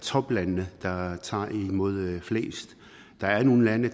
toplandene der har taget imod flest der er nogle lande